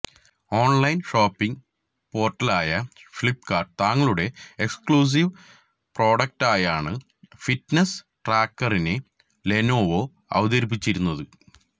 online shopping പോർട്ടലായ ഫ്ലിപ്കാർട്ട് തങ്ങളുടെ exclusive പ്രോഡക്ടായാണ് ഫിറ്റ്നസ് ട്രാക്കറിനെ ലെനോവോ അവതരിപ്പിച്ചിരിക്കുന്നത്